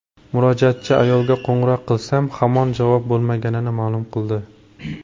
Murojaatchi ayolga qo‘ng‘iroq qilsam, hamon javob bo‘lmaganini ma’lum qildi.